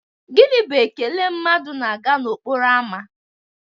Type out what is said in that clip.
Gini bụ ekele mmadụ na-aga n'okporo ámá?